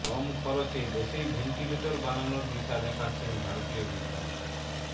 কম খরচে দেশেই ভেন্টিলেটর বানানোর দিশা দেখাচ্ছেন ভারতীয় বিজ্ঞানীরা